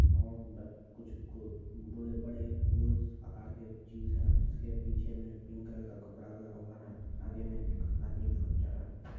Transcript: कुछ बड़े - बड़े गोल आकार के चीज है उसके पीछे मे पिंक कलर का कपड़ा लगा हुआ है आगे में एक आदमी फोटो खींचा रहा--